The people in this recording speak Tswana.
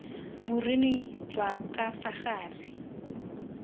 boruni jwa ka fa gare